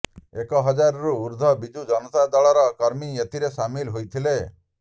ଏକ ହଜାର ରୁ ଉର୍ଦ୍ଧ ବିଜୁ ଜନତା ଦଳ ର କର୍ମୀ ଏଥିରେ ସାମିଲ ହୋଇଥିଲେ